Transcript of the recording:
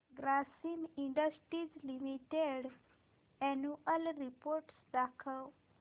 Grasim industries limited annual report दाखव